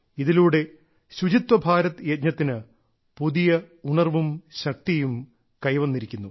ഇതിലൂടെ ശുചിത്വ ഭാരത് യജ്ഞത്തിനു പുതിയ ഉണർവും ശക്തിയും കൈവരിച്ചിരിക്കുന്നു